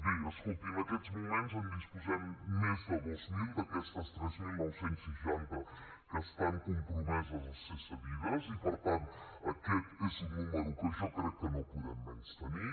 bé escolti en aquests moments en disposem més de dos mil d’aquests tres mil nou cents i seixanta que estan compromesos a ser cedits i per tant aquest és un número que jo crec que no podem menystenir